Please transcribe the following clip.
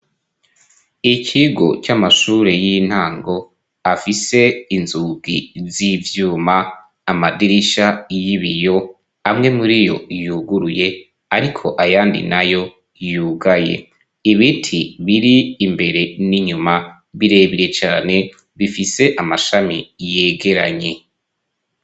Ikigo c'amashure y'intango afise inzugi z'ivyuma; amadirisha y'ibiyo amwe muri yo yuguruye ariko ayandi nayo yugaye, ibiti biri imbere n'inyuma, birebire cane bifise amashami yegeranye.